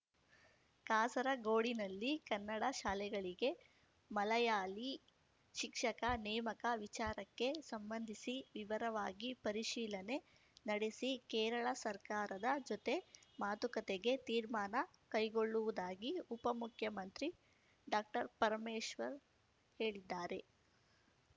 ಕಾಸರಗೋಡಿನಲ್ಲಿ ಕನ್ನಡ ಶಾಲೆಗಳಿಗೆ ಮಲಯಾಳಿ ಶಿಕ್ಷಕ ನೇಮಕ ವಿಚಾರಕ್ಕೆ ಸಂಬಂಧಿಸಿ ವಿವರವಾಗಿ ಪರಿಶೀಲನೆ ನಡೆಸಿ ಕೇರಳ ಸರ್ಕಾರದ ಜೊತೆ ಮಾತುಕತೆಗೆ ತೀರ್ಮಾನ ಕೈಗೊಳ್ಳುವುದಾಗಿ ಉಪಮುಖ್ಯಮಂತ್ರಿ ಡಾಕ್ಟರ್ಪರಮೇಶ್ವರ್‌ ಹೇಳಿದ್ದಾರೆ